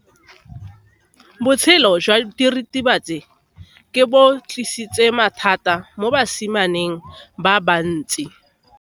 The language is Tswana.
Botshelo jwa diritibatsi ke bo tlisitse mathata mo basimaneng ba bantsi.